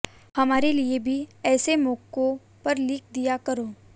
हमारे लिये भी ऐसे मौकों पर लिख दिया करो